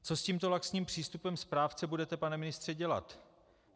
Co s tímto laxním přístupem správce budete, pane ministře, dělat?